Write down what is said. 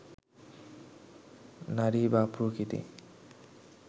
নারী বা প্রকৃতি